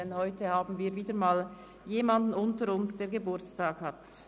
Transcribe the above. Denn heute haben wir wieder einmal jemanden unter uns, der Geburtstag hat.